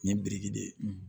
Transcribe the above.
Nin ye biriki de ye